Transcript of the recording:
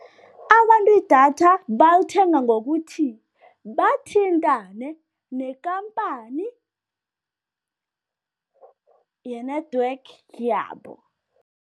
Abantu idatha bangalithenga ngokuthi bathintane nekhampani ye-network yabo.